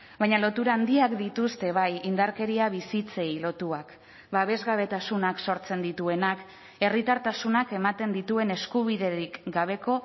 baina lotura handiak dituzte bai indarkeria bizitzei lotuak babesgabetasunak sortzen dituenak herritartasunak ematen dituen eskubiderik gabeko